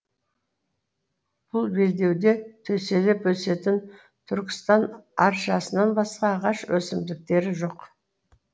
бұл белдеуде төселіп өсетін түркістан аршасынан басқа ағаш өсімдіктері жоқ